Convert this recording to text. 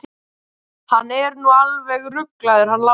Hann er nú alveg ruglaður hann Lási.